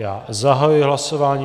Já zahajuji hlasování.